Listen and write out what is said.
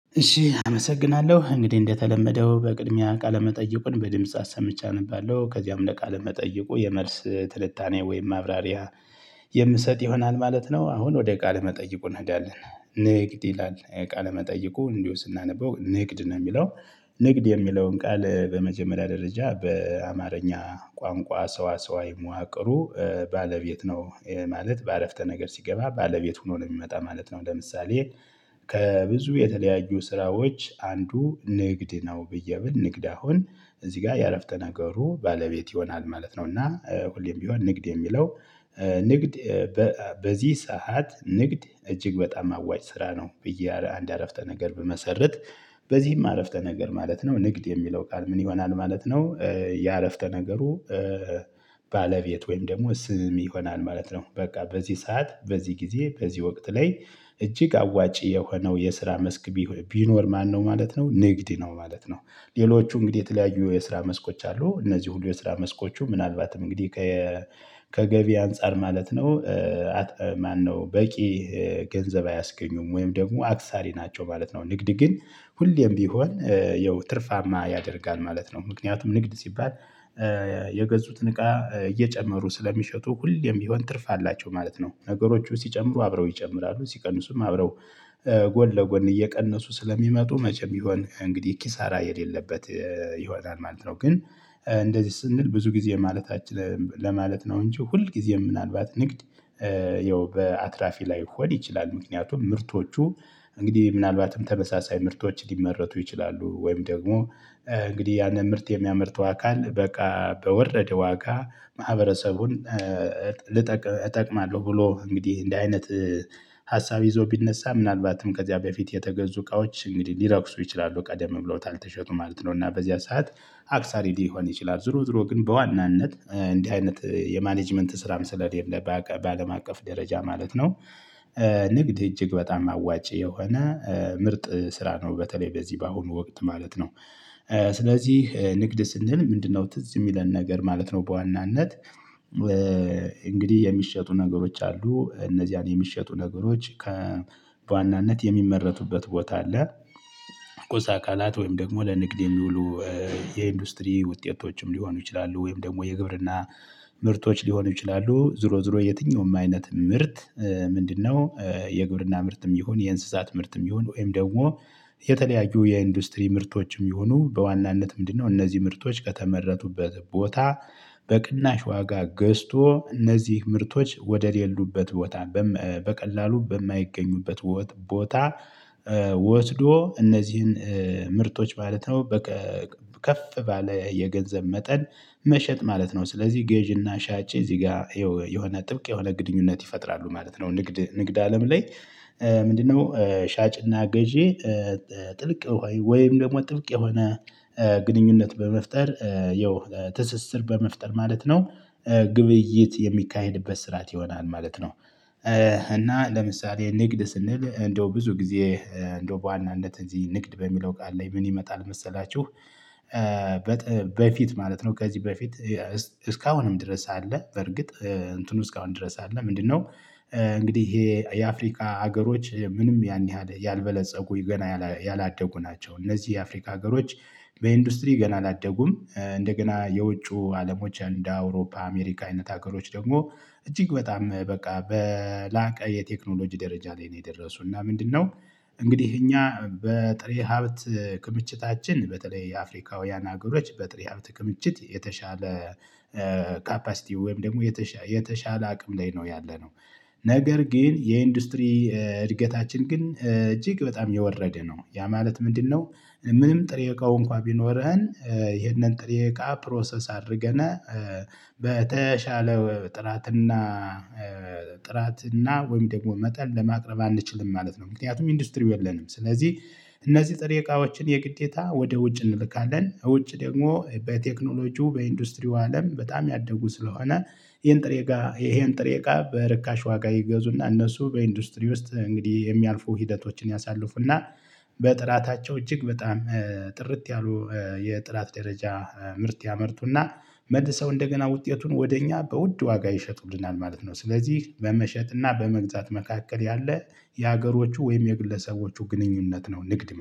እሺ አመሰግናለሁ እንግዲህ እንደተለመደው በቅድሚያ ቃለመጠይቁን በድምጽ አሰምቼ አነባለሁ ከዚያም ለቃለመጠይቁ የመልስ ትልታኔ ወይም ማብራሪያ የምሰጥ ይሆናል ማለት ነው። አሁን ወደ ቃል መጠይቁ እንሄዳለን። ንግድ ይላል ቃል መጠይቁ እንዲሁ ስናነበው ንግድ ነው የሚለው። ንግድ የሚለውን ቃል በመጀመሪያ ደረጃ በአማርኛ ቋንቋ ሰዋ ሰዋዊ መዋቅሩ ባለቤት ነው ማለት በአረፍተ ነገር ሲገባ ባለቤት ሆኖ ነው የሚመጣ ማለት ነው። ለምሳሌ ከብዙ የተለያዩ ስራዎች አንዱ ንግድ ነው። ብዬ ብል ንግድ አሁን እዚህ ጋር ያረፍተ ነገሩ ባለቤት ይሆናል ማለት ነው። እና ሁሌም ቢሆን ንግድ የሚለው ንግድ በዚህ ሰዓት ንግድ እጅግ በጣም አዋጭ ስራ ነው። ብዬ አንድ አረፍተ ነገር ብመሰርት በዚህም አረፍተ ነገር ማለት ነው ንግድ የሚለው ቃል ምን ይሆናል ማለት ነው? የአረፍተ ነገሩ ባለቤት ወይም ደግሞ ስም ይሆናል ማለት ነው። በቃ በዚህ ሰዓት በዚህ ጊዜ በዚህ ወቅት ላይ። እጅግ አዋጪ የሆነው የስራ መስክ ቢኖር ማነው ማለት ነው ንግድ ነው ማለት ነው። ሌሎቹ እንግዲህ የተለያዩ የስራ መስኮች አሉ እነዚህ ሁሉ የስራ መስኮቹ ምናልባትም እንግዲህ ከገቢ አንፃር ማለት ነው ማነው በቂ ገንዘብ አያስገኙም ወይም ደግሞ አክሳሪ ናቸው ማለት ነው። ንግድ ግን ሁሌም ቢሆን ያው ትርፋማ ያደርጋል ማለት ነው። ምክንያቱም ንግድ ሲባል የገዙትን እቃ እየጨመሩ ስለሚሸጡ ሁሌም ቢሆን ትርፍ አላቸው ማለት ነው። ነገሮቹ ሲጨምሩ አብረው ይጨምራሉ ሲቀንሱም አብረው ጎን ለጎን እየቀነሱ ስለሚመጡ መቼም ይሆን እንግዲህ ኪሳራ የሌለበት ይሆናል ማለት ነው። ግን እንደዚህ ስንል ብዙ ጊዜ ማለታችን ለማለት ነው እንጂ ሁልጊዜም ምናልባት ንግድ ያው በአትራፊ ላይሆድ ይችላል። ምክንያቱም ምርቶቹ እንግዲህ ምናልባትም ተመሳሳይ ምርቶች ሊመረጡ ይችላሉ ወይም ደግሞ እንግዲህ ያንን ምርት የሚያመርተው አካል በቃ በወረደ ዋጋ ማህበረሰቡን ልጠቅ እጠቅማለሁ ብሎ እንግዲህ እንደ አይነት ሀሳብ ይዞ ቢነሳ ምናልባትም ከዚያ በፊት የተገዙ እቃዎች እንግዲህ ሊረክሱ ይችላሉ ቀደም ብሎታል ተሸጡ ማለት ነው እና በዚያ ሰዓት አክሳሪ ሊሆን ይችላል። ዞሮ ዞሮ ግን በዋናነት እንዲህ አይነት የማኔጅመንት ስራም ስለሌለ በአለም አቀፍ ደረጃ ማለት ነው። ንግድ እጅግ በጣም አዋጭ የሆነ ምርጥ ስራ ነው በተለይ በዚህ በአሁኑ ወቅት ማለት ነው። ስለዚህ ንግድ ስንል ምንድነው ትዝ የሚለን ነገር ማለት ነው። በዋናነት እንግዲህ የሚሸጡ ነገሮች አሉ እነዚያን የሚሸጡ ነገሮች በዋናነት የሚመረቱበት ቦታ አለ። ቁሳ አካላት ወይም ደግሞ ለንግድ የሚውሉ የኢንዱስትሪ ውጤቶችም ሊሆኑ ይችላሉ ወይም ደግሞ የግብርና ምርቶች ሊሆኑ ይችላሉ። ዞሮ ዞሮ የትኛውም አይነት ምርት። ምንድነው የግብርና ምርትም ይሁን የእንስሳት ምርትም ይሁን ወይም ደግሞ የተለያዩ የኢንዱስትሪ ምርቶችም ይሁኑ በዋናነት ምንድነው እነዚህ ምርቶች ከተመረቱበት ቦታ። በቅናሽ ዋጋ ገዝቶ እነዚህ ምርቶች ወደሌሉበት ቦታ በቀላሉ በማይገኙበት ቦታ ወትዶ እነዚህን ምርቶች ማለት ነው። በቃ ከፍ ባለ የገንዘብ መጠን መሸጥ ማለት ነው። ስለዚህ ገዢና ሻጭ እዚህ ጋር ይኸው የሆነ ጥብቅ የሆነ ግድኙነት ይፈጥራሉ ማለት ነው። ንግድ ንግድ አለም ላይ ምንድነው ሻጭና ገዢ ጥልቅ ወይም ደግሞ ጥብቅ የሆነ ግንኙነት በመፍጠር ያው ትስስር በመፍጠር ማለት ነው። ግብይት የሚካሄድበት ስርዓት ይሆናል ማለት ነው። እና ለምሳሌ ንግድ ስንል እንደው ብዙ ጊዜ እንደው በዋናነት እዚህ ንግድ በሚለው ቃል ላይ ምን ይመጣል መሰላችሁ? በፊት ማለት ነው ከዚህ በፊት እስካሁንም ድረስ አለ። በርግጥ እንትኑ እስካሁን ድረስ አለ ምንድነው? እንግዲህ ይሄ የአፍሪካ ሀገሮች ምንም ያን ያህል ያልበለፀጉ ገና ያላደጉ ናቸው። እነዚህ የአፍሪካ ሀገሮች በኢንዱስትሪ ገና አላደጉም እንደገና የውጩ አለሞች እንደ አውሮፓ አሜሪካ አይነት ሀገሮች ደግሞ እጅግ በጣም በቃ በላቀ የቴክኖሎጂ ደረጃ ላይ ነው። የደረሱና ምንድነው? እንግዲህ እኛ በጥሬ ሀብት ክምችታችን በተለይ የአፍሪካውያን ሀገሮች በጥሬ ሀብት ክምችት የተሻለ ካፓሲቲው ወይም ደግሞ የተሻለ አቅም ላይ ነው ያለነው። ነገር ግን የኢንዱስትሪ እድገታችን ግን እጅግ በጣም የወረደ ነው ያ ማለት ምንድነው? ምንም ጥሬ እቃው እንኳን ቢኖረህን ይሄንን ጥሬ እቃ ፕሮሰስ አድርገነ በተሻለ ጥራትና ጥራትና እና ወይም ደግሞ መጠን ለማቅረብ አንችልም ማለት ነው። ምክንያቱም ኢንዱስትሪው የለንም። ስለዚህ እነዚህ ጥሬ እቃዎችን የግዴታ ወደ ውጭ እንልካለን ውጭ ደግሞ በቴክኖሎጂው በኢንዱስትሪው አለም በጣም ያደጉ ስለሆነ ይሄን ጥሬ እቃ ይሄን ጥሬ እቃ በርካሽ ዋጋ ይገዙና እነሱ በኢንዱስትሪ ውስጥ እንግዲህ የሚያልፉ ሂደቶችን ያሳልፉና በጥራታቸው እጅግ በጣም ጥርት ያሉ የጥራት ደረጃ ምርት ያመርቱና መልሰው እንደገና ውጤቱን ወደ እኛ በውድ ዋጋ ይሸጡልናል ማለት ነው። ስለዚህ በመሸጥና በመግዛት መካከል ያለ የሀገሮቹ ወይም የግለሰቦቹ ግንኙነት ነው ንግድ